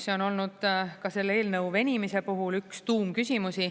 See on olnud ka selle eelnõu venimise puhul üks tuumküsimusi.